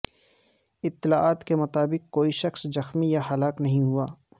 اطلاعات کے مطابق کوئی شخص زخمی یا ہلاک نہیں ہوا